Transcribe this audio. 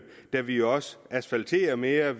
da vi jo også asfalterer mere